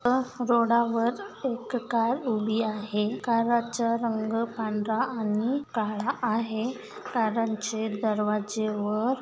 व रोडावर एक कार उभी आहे काराचा रंग पांढरा आणि काळा आहे. कारांचे दरवाजे व--